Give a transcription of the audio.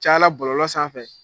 Cayala bɔlɔlɔ sanfɛ